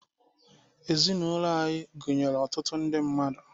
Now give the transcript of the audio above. Ezinụlọ anyị gụnyere ọtụtụ ndị mmadụ.